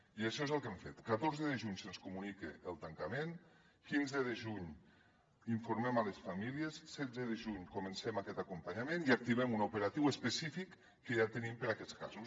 i això és el que hem fet catorze de juny se’ns comunica el tancament quinze de juny informem les famílies setze de juny comencem aquest acompanyament i activem un operatiu específic que ja tenim per a aquests casos